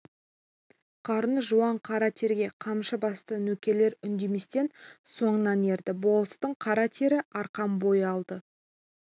қарны жуан қара терге қамшы басты нөкерлер үндеместен соңынан ерді болыстың қара тері арқан бойы алда